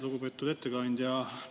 Lugupeetud ettekandja!